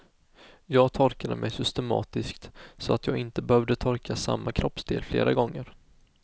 Jag torkade mig systematiskt så att jag inte behövde torka samma kroppsdel flera gånger.